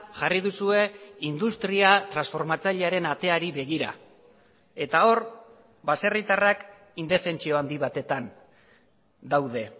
jarri duzue industria transformatzailearen ateari begira eta hor baserritarrak indefentsio handi batetan daude